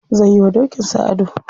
Zai yi wa dokin sa ado.